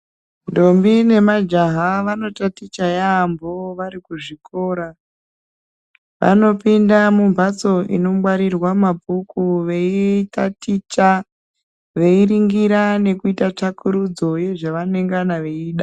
Ntombi nemajaha vanotaticha yaambo varikuzvikora. Vanopinda mumbatso inongwarirwe mabhuku veitaticha, veirungura nekuita tsvakurudzo yezvavanengana veida.